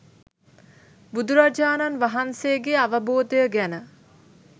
බුදුරජාණන් වහන්සේගේ අවබෝධය ගැන